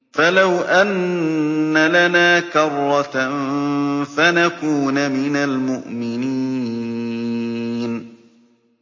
فَلَوْ أَنَّ لَنَا كَرَّةً فَنَكُونَ مِنَ الْمُؤْمِنِينَ